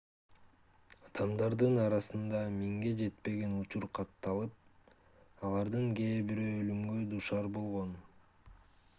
адамдардын арасында миңге жетпеген учур катталып алардын кээ бирөө өлүмгө дуушар болгон